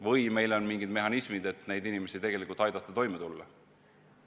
Või meil on mingid mehhanismid, et neil inimestel tegelikult aidata toime tulla?